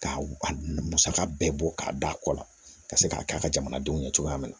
K'a a musaka bɛɛ bɔ k'a d'a kɔ la ka se k'a k'a ka jamanadenw ɲɛ cogoya min na